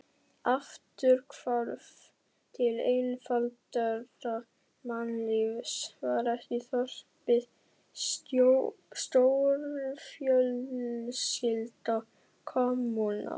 Afturhvarf til einfaldara mannlífs, var ekki þorpið stórfjölskylda, kommúna?